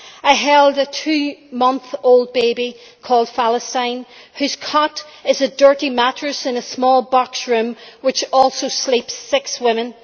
I held a two month old old baby called Falestine whose cot is a dirty mattress in a small box-room which also sleeps six women.